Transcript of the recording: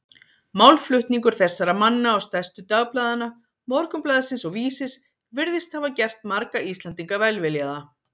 Málflutningur þessara manna og stærstu dagblaðanna, Morgunblaðsins og Vísis, virðist hafa gert marga Íslendinga velviljaða